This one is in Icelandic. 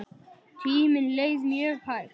Tíminn leið mjög hægt.